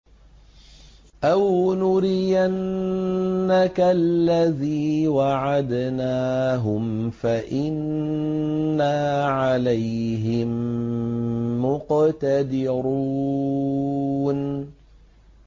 أَوْ نُرِيَنَّكَ الَّذِي وَعَدْنَاهُمْ فَإِنَّا عَلَيْهِم مُّقْتَدِرُونَ